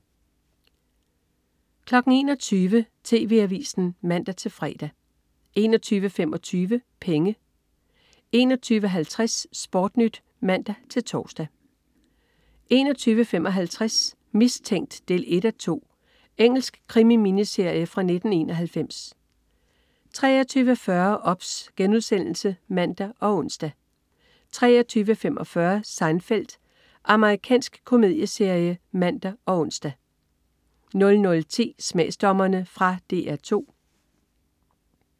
21.00 TV Avisen (man-fre) 21.25 Penge 21.50 SportNyt (man-tors) 21.55 Mistænkt 1:2. Engelsk krimi-miniserie fra 1991 23.40 OBS* (man og ons) 23.45 Seinfeld. Amerikansk komedieserie (man og ons) 00.10 Smagsdommerne. Fra DR 2